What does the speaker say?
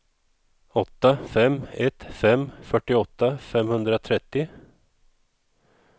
åtta fem ett fem fyrtioåtta femhundratrettio